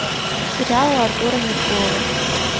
сериалы артура меркулова